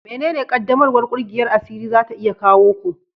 Menene ƙaddamarwar ƙungiyar asiri za ta iya kawo ku?